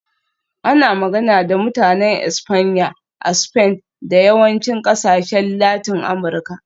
Ana magana da Mutanen Espanya a Spain da yawancin ƙasashen Latin Amurka.